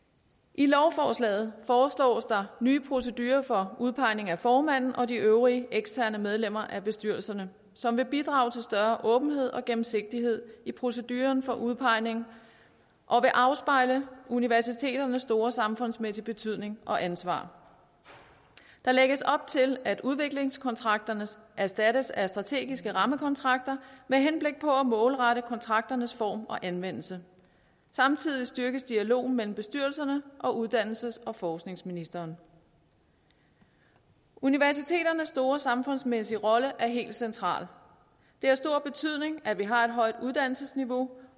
i lovforslaget foreslås der nye procedurer for udpegning af formanden og de øvrige eksterne medlemmer af bestyrelsen som vil bidrage til større åbenhed og gennemsigtighed i proceduren for udpegning og afspejle universiteternes store samfundsmæssige betydning og ansvar der lægges op til at udviklingskontrakterne erstattes af strategiske rammekontrakter med henblik på at målrette kontrakternes form og anvendelse samtidig styrkes dialogen mellem bestyrelserne og uddannelses og forskningsministeren universiteternes store samfundsmæssige rolle er helt central det har stor betydning at vi har et højt uddannelsesniveau